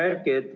Hea Erki!